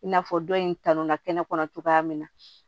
I n'a fɔ dɔ in kanu na kɛnɛ kɔnɔ cogoya min na